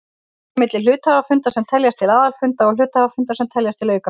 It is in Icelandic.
Greint er á milli hluthafafunda sem teljast til aðalfunda og hluthafafunda sem teljast til aukafunda.